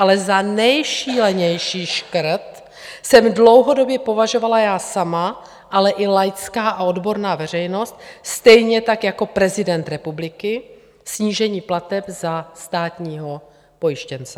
Ale za nejšílenější škrt jsem dlouhodobě považovala já sama, ale i laická a odborná veřejnost, stejně tak jako prezident republiky snížení plateb za státního pojištěnce.